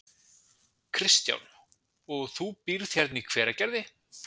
Kristján: Og þú býrð hérna í Hveragerði?